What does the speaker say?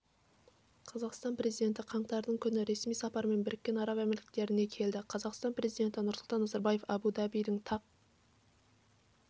қазақстан президенті қаңтардың күні ресми сапармен біріккен араб әмірліктеріне келді қазақстан президенті нұрсұлтан назарбаев абу-дабидің тақ